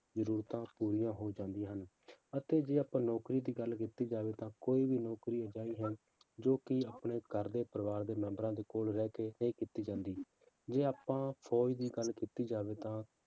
ਜ਼ਰੂਰਤਾਂ ਪੂਰੀਆਂ ਹੋ ਜਾਂਦੀਆਂ ਹਨ, ਅਤੇ ਜੇ ਆਪਾਂ ਨੌਕਰੀ ਦੀ ਗੱਲ ਕੀਤੀ ਜਾਵੇ ਤਾਂ ਕੋਈ ਵੀ ਨੌਕਰੀ ਅਜਿਹੀ ਹੈ ਜੋ ਕਿ ਆਪਣੇ ਘਰ ਦੇ ਪਰਿਵਾਰ ਦੇ ਮੈਂਬਰਾਂ ਦੇ ਕੋਲ ਰਹਿ ਕੇ ਨਹੀਂ ਕੀਤੀ ਜਾਂਦੀ, ਜੇ ਆਪਾਂ ਫੌਜ਼ ਦੀ ਗੱਲ ਕੀਤੀ ਜਾਵੇ ਤਾਂ